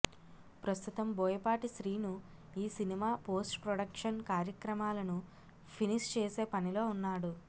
ప్రస్తుతం బోయ పాటి శ్రీను ఈ cinema post production కార్యక్రమాలను ఫినిష్ చేసే పనిలో ఉన్నాడు